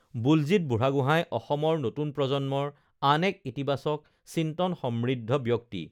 বুলজিৎ বুঢ়াগোঁহাই অসমৰ নতুন প্ৰজন্মৰ আন এক ইতিবাচক চিন্তনসমৃদ্ধ ব্যক্তি